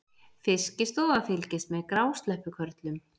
Fiskistofa fylgist með grásleppukörlum